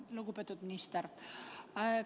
Lugupeetud minister!